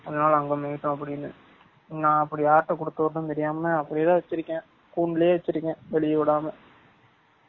அதுனால அங்க மேய்யட்டும் அப்ப்டினு நா அப்டி யார் கிட்ட குடுத்து விட்ரது தெரியாமா அப்டியே தான் வச்சு இருகேன் கூண்டுலயெ வச்சு இருகேன் வெலிய விடாம.